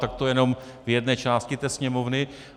Tak to jenom v jedné části té Sněmovny.